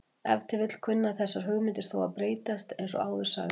Ef til vill kunna þessar hugmyndir þó að breytast eins og áður sagði.